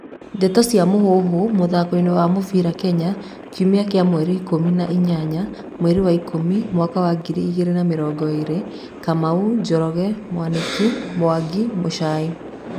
Ndeto cia Mũhuhu, mũthakoini wa mũbĩra Kenya, Kiumia kia mweri ikũmi na inyanya, mweri wa ikũmi, mwaka wa ngiri igĩrĩ na mĩrongo ĩrĩ :Kamau, Njoroge Mwaniki, Mwangi, Muchai.